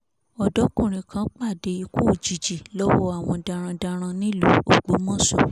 ọ̀dọ́kùnrin kan pàdé ikú òjijì lọ́wọ́ àwọn darandaran nílùú ògbómọṣọ